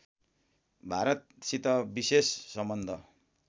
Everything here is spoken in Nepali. भारतसित विशेष सम्बन्ध